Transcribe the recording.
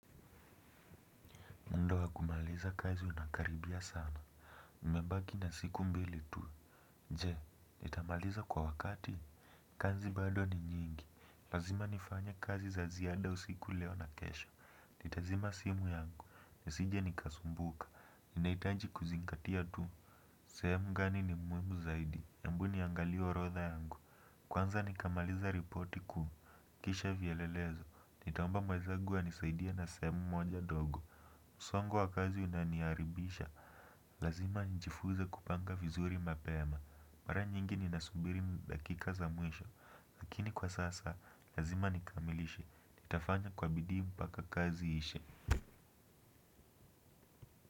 Muda wa kumaliza kazi unakaribia sana. Mmebaki na siku mbili tu. Je, nitamaliza kwa wakati. Kazi bado ni nyingi. Lazima nifanye kazi za ziada usiku, leo na kesho. Nitazima simu yangu. Nisije nikasumbuka. Nahitaji kuzingatia tu. Sehemu gani ni muhimu zaidi. Embu niangalie orodha yangu. Kwanza nikamaliza ripoti kuu. Kisha vielelezo. Nitaomba mwezangu anisaidie na sehemu moja ndogo. Msongo wa kazi unaniharibisha. Lazima nijifunze kupanga vizuri mapema. Mara nyingi ni nasubiri dakika za mwisho lakini kwa sasa, lazima nikamilishe. Nitafanya kwa bidii mpaka kazi iishe.